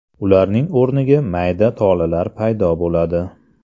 Ularning o‘rniga mayda tolalar paydo bo‘ladi.